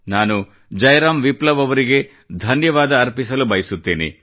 ನಾನು ಜಯರಾಮ್ ವಿಪ್ಲವ್ ಅವರಿಗೆ ಧನ್ಯವಾದ ಅರ್ಪಿಸಲು ಬಯಸುತ್ತೇನೆ